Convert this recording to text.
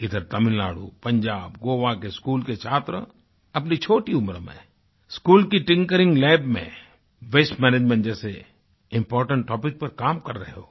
इधर तमिलनाडु पंजाब गोवा के स्कूल के छात्र अपनी छोटी उम्र में स्कूल की टिंकरिंग लैब में वास्ते मैनेजमेंट जैसे इम्पोर्टेंट टॉपिक पर काम कर रहे हों